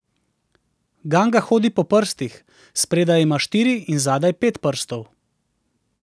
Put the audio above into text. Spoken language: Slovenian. Ganga hodi po prstih, spredaj ima štiri in zadaj pet prstov.